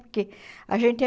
Porque a gente é...